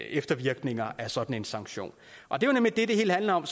eftervirkninger af sådan en sanktion det det hele handler om